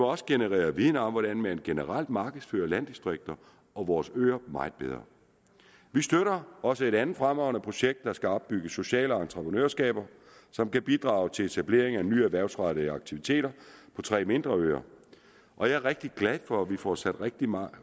også generere viden om hvordan man generelt markedsfører landdistrikter og vores øer meget bedre vi støtter også et andet fremragende projekt der skal opbygge sociale entreprenørskaber som kan bidrage til etablering af nye erhvervsrettede aktiviteter på tre mindre øer og jeg er rigtig glad for at vi får sat rigtig meget